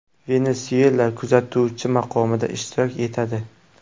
Venesuyela kuzatuvchi maqomida ishtirok etadi.